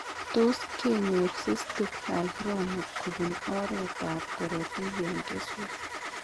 Tot kenyor cyctic hygroma kobun oret ab korotik en keswek